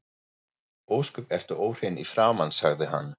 Ósköp ertu óhrein í framan, sagði hann.